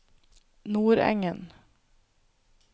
Nordengen